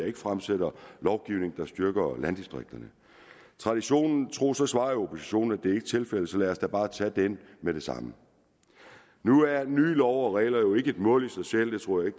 ikke fremsætter lovgivning der styrker landdistrikterne traditionen tro tro svarer jeg oppositionen at det ikke er tilfældet så lad os da bare tage den med det samme nu er nye love og regler jo ikke et mål i sig selv det tror jeg